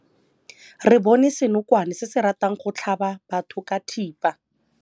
Re bone senokwane se se ratang go tlhaba batho ka thipa.